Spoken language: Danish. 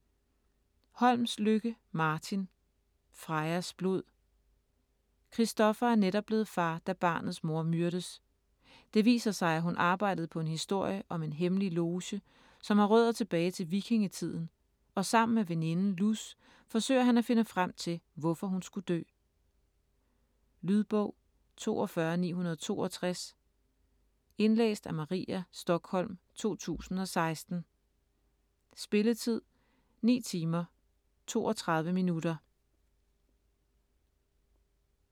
Holmslykke, Martin: Frejas blod Christopher er netop blevet far, da barnets mor myrdes. Det viser sig, at hun arbejdede på en historie om en hemmelig loge, som har rødder tilbage til vikingetiden, og sammen med veninden Luz forsøger han at finde frem til, hvorfor hun skulle dø. Lydbog 42962 Indlæst af Maria Stokholm, 2016. Spilletid: 9 timer, 32 minutter.